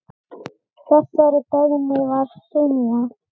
Þessari beiðni var synjað.